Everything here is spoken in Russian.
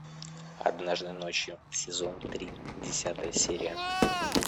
однажды ночью сезон три десятая серия